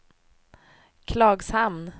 Klagshamn